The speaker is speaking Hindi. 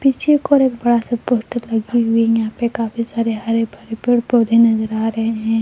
पीछे की ओर एक बड़ा सा पोस्टर लगे हुए है यहां पे काफी सारे हरे भरे पेड़ पौधे नजर आ रहे हैं।